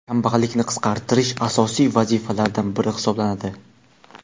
kambag‘allikni qisqartirish asosiy vazifalardan biri hisoblanadi.